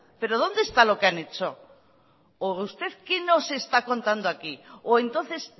pero dónde está lo que han hecho o usted que nos está contando aquí o entonces